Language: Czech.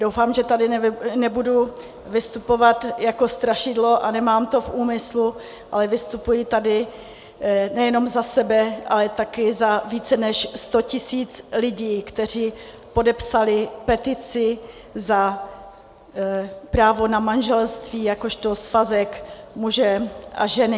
Doufám, že tady nebudu vystupovat jako strašidlo, a nemám to v úmyslu, ale vystupuji tady nejenom za sebe, ale také za více než sto tisíc lidí, kteří podepsali petici za právo na manželství jakožto svazek muže a ženy.